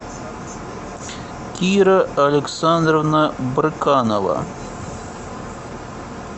кира александровна брыканова